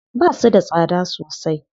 Basu da tsada sosai.